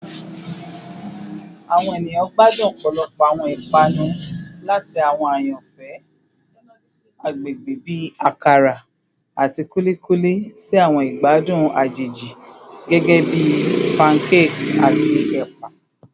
Awọn eniyan gbadun ọpọlọpọ awọn ipanu, lati awọn ayanfẹ agbegbe bi akara ati kulikuli si awọn igbadun ajeji gẹgẹbi pancakes ati ẹpa.